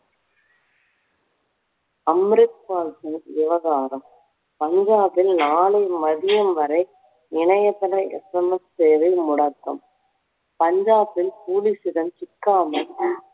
அம்ரித் பால் சிங் விவகாரம். பஞ்சாபில் நாளை மதியம் வரை இணையதள SMS சேவை முடக்கம் பஞ்சாபில் police இடம் சிக்காமல்